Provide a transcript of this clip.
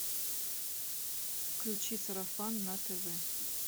включи сарафан на тв